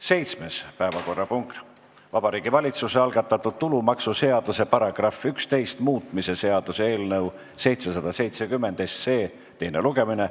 Seitsmes päevakorrapunkt on Vabariigi Valitsuse algatatud tulumaksuseaduse § 11 muutmise seaduse eelnõu 770 teine lugemine.